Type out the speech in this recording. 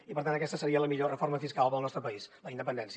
i per tant aquesta seria la millor reforma fiscal per al nostre país la independència